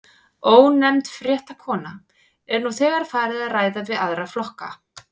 Ónefnd fréttakona: Er nú þegar farið að ræða við aðra flokka?